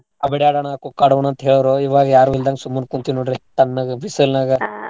ಅ ಬೀಡಾ ಆಡೋಣು ಖೊಕ್ಕ್ ಆಡೋಣು ಅಂತ್ ಹೇಳೋರು ಇವಾಗ್ ಯಾರು ಇಲ್ದನಂಗ್ ಸುಮ್ನ ಕುಂತಿನ್ ನೋಡ್ರಿ ತನ್ನಗ ಬಿಸಲ್ನಾಗ.